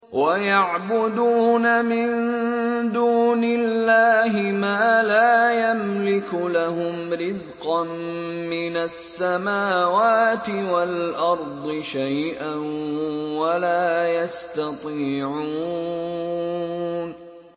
وَيَعْبُدُونَ مِن دُونِ اللَّهِ مَا لَا يَمْلِكُ لَهُمْ رِزْقًا مِّنَ السَّمَاوَاتِ وَالْأَرْضِ شَيْئًا وَلَا يَسْتَطِيعُونَ